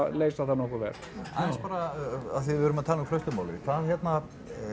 leysa það nokkuð vel aðeins bara af því að við erum að tala um hvað hérna